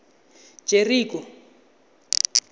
jeriko